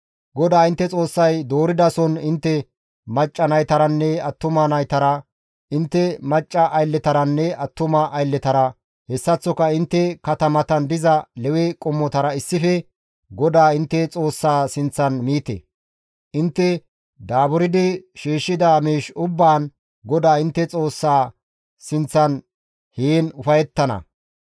GODAA intte Xoossay dooridason intte macca naytaranne attuma naytara, intte macca aylletaranne attuma aylletara, hessaththoka intte katamatan diza Lewe qommotara issife GODAA intte Xoossaa sinththan miite; intte daaburdi shiishshida miish ubbaan GODAA intte Xoossaa sinththan heen ufayettana.